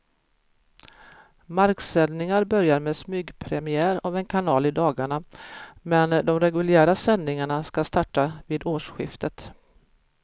Marksändningar börjar med smygpremiär av en kanal i dagarna, men de reguljära sändningarna ska starta vid årsskiftet.